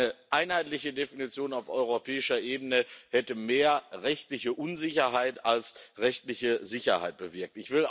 Eine einheitliche Definition auf europäischer Ebene hätte mehr rechtliche Unsicherheit als rechtliche Sicherheit bewirkt.